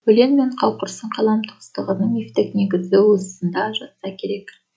өлең мен қауқырсын қалам туыстығының мифтік негізі осында жатса керек